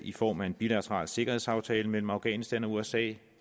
i form af en bilateral sikkerhedsaftale mellem afghanistan og usa